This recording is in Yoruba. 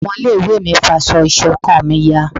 ọmọ ilé ìwé mi fá aṣọ ìṣọ̀kan mí yá